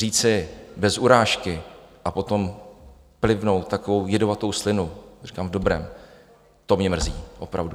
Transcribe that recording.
Říci "bez urážky" a potom plivnout takovou jedovatou slinu, říkám v dobrém, to mě mrzí, opravdu.